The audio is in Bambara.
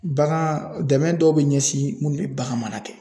Bagan dɛmɛ dɔw be ɲɛsin mun be bagan mara kɛ